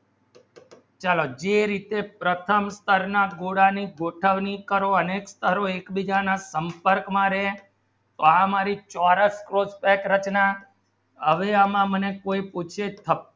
ચલો જે રીતે પ્રથમ કરના ગોઠવણી કરો અને એક બીજા માં સંપર્ક માં રહેઆ મારી ચોરસઆવી રચના આવી મને કોઈ પૂછે તો